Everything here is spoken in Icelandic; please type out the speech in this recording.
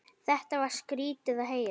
Þetta var skrýtið að heyra.